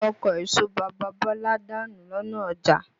Ọkọ̀ èso bàbá Bọ́lá danù lọ́nà ọjà.